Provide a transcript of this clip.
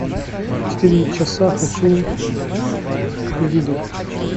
четыре часа хочу увидеть